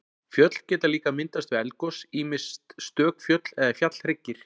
Fjöll geta líka myndast við eldgos, ýmist stök fjöll eða fjallhryggir.